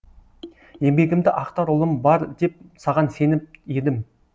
еңбегімді ақтар ұлым бар деп саған сеніп едім